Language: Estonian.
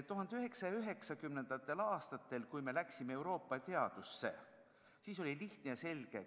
1990. aastatel, kui me ka teaduses n-ö läksime Euroopasse, siis oli kurss lihtne ja selge.